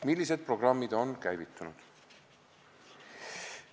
Millised programmid on käivitunud?